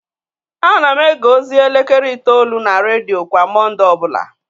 Ana m ege ozi elekere itoolu na redio kwa Mọnde ọ bụla